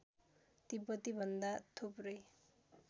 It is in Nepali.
तिब्बती भन्दा थुप्रै